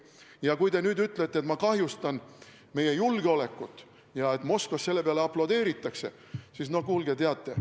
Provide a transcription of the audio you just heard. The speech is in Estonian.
Ja kui te nüüd ütlete, et ma kahjustan meie julgeolekut ja et Moskvas selle peale aplodeeritakse, siis no kuulge, teate.